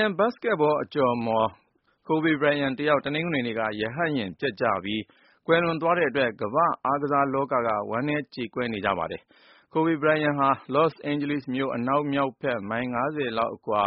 န် ဘတ်စ်ကက်ဘော အကျော်အမော် Kobe Bryant တယောက် တနင်္ဂနွေနေ့က ရဟတ်ယာဉ်ပျက်ကျပြီး ကွယ်လွန်သွားတဲ့အတွက် ကမ္ဘာ့အားကစားလောကက ဝမ်းနည်းကြေကွဲနေကြပါတယ်။ Kobe Bryant ဟာ လော့စ်အိန်ဂျလိစ်မြို့ အနောက်မြောက်ဘက် မိုင် ၅၀ ခန့်အကွာ